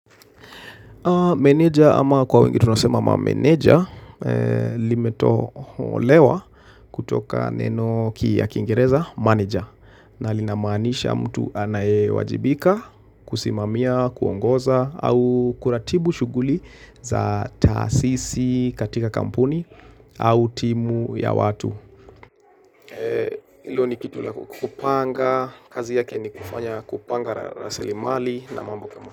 Meneja ama kwa wengi tunasema ma mameneja limetoholewa kutoka neno ki ya kingereza manager na linamaanisha mtu anayewajibika kusimamia, kuongoza au kuratibu shughuli za tahasisi katika kampuni au timu ya watu. Hilo ni kitu la kupanga, kazi yake ni kupanga rasilimali na mambo kama.